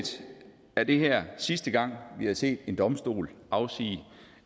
er det her sidste gang vi har set en domstol afsige